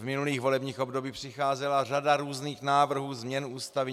V minulých volebních obdobích přicházela řada různých návrhů změn Ústavy.